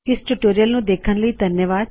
ਇਸ ਟਯੂਟੋਰਿਅਲ ਨੂੰ ਦੇਖਣ ਲਈ ਧੰਨਵਾਦ